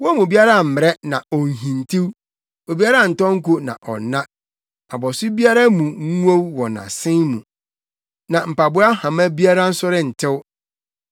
Wɔn mu biara mmmrɛ na onhintiw, obiara ntɔ nko na ɔnna; abɔso biara mu nnwow wɔ asen mu na mpaboa hama biara nso rentew.